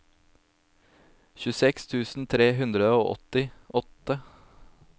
tjueseks tusen tre hundre og åttiåtte